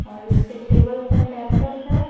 और इसके टेबल पर लैपटॉप है।